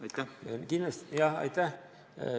Aitäh!